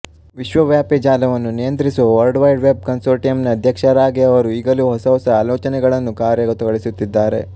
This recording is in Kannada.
ವಿಶ್ವವ್ಯಾಪಿ ಜಾಲವನ್ನು ನಿಯಂತ್ರಿಸುವ ವರ್ಲ್ಡ್ ವೈಡ್ ವೆಬ್ ಕನ್ಸೋರ್ಟಿಯಂನ ಅಧ್ಯಕ್ಷರಾಗಿ ಅವರು ಈಗಲೂ ಹೊಸ ಹೊಸ ಆಲೋಚನೆಗಳನ್ನು ಕಾರ್ಯಗತಗೊಳಿಸುತ್ತಿದ್ದಾರೆ